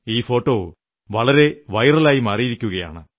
ഈ ഫോട്ടോ വളരെ വൈറലായിരിക്കയാണ്